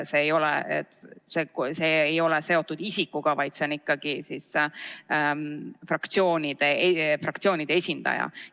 See ei ole seotud isikuga, komisjonis on ikkagi fraktsioonide esindaja.